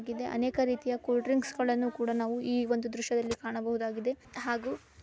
ಗಿದೆ ಅನೇಕ ರೀತಿಯ ಕೂಲ್ ಡ್ರಿಂಕ್ ಗಳನ್ನು ಕೂಡ ನಾವು ಈ ಒಂದು ದೃಶ್ಯದಲ್ಲಿ ಕಾಣಬಹುದಾಗಿದೆ